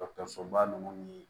Dɔkɔtɔrɔsoba nunnu ni